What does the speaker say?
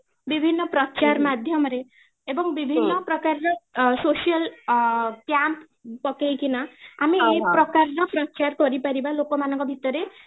ବିଭିନ୍ନ ପ୍ରଚାର ମାଧ୍ୟମରେ ଏବଂ ବିଭିନ୍ନ ପ୍ରକାରର social ଅଂ plan ପକେଇକି ନା ଆମେ ଏଇ ପ୍ରକାରର ପ୍ରଚାର କରି ପାରିବା ଲୋକ ମାନଙ୍କ ଭିତରେ